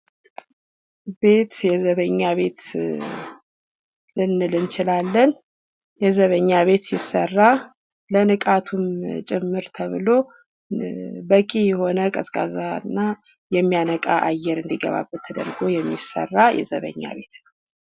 ቤት የዘበኛ ቤት ልንል እንችላለን። የዘበኛ ቤት ሲሰራ ለንቃቱም ጭምር ተብሎ በቂ የሆነ ቀዝቃዛና የሚያነቃ አየር እንዲገባ ተደርጎ የሚሠራ የዘበኛ ቤት ነው።